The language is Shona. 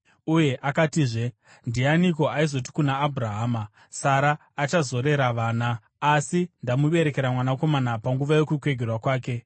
Uye akatizve, “Ndianiko aizoti kuna Abhurahama, Sara achazorera vana? Asi ndamuberekera mwanakomana panguva yokukwegura kwake.”